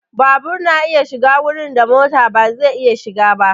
Babur na iya shiga wurin da mota ba zai iya shiga ba.